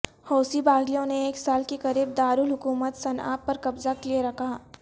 حوثی باغیوں نے ایک سال کے قریب دارالحکومت صنعا پر قبضہ کیے رکھا